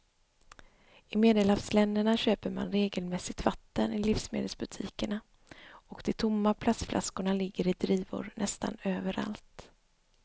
I medelhavsländerna köper man regelmässigt vatten i livsmedelsbutikerna och de tomma plastflaskorna ligger i drivor nästan överallt.